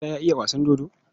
Musa ya iya wasan dodo?